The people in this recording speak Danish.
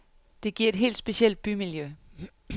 Det giver et helt specielt bymiljø.